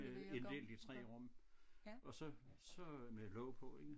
Øh inddelt i 3 rum og så så med låg på ikke